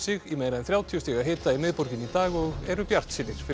í meira en þrjátíu stiga hita í miðborginni í dag og eru bjartsýnir fyrir